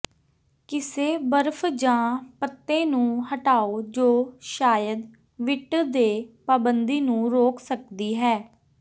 ਕਿਸੇ ਬਰਫ਼ ਜਾਂ ਪੱਤੇ ਨੂੰ ਹਟਾਓ ਜੋ ਸ਼ਾਇਦ ਵਿਟ ਦੇ ਪਾਬੰਦੀ ਨੂੰ ਰੋਕ ਸਕਦੀ ਹੈ